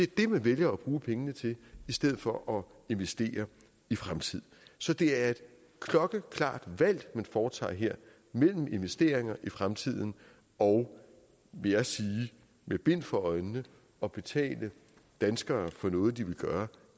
det man vælger at bruge pengene til i stedet for investere i fremtiden så det er et klokkeklart valg man foretager her mellem investeringer i fremtiden og vil jeg sige med bind for øjnene at betale danskere for noget de vil gøre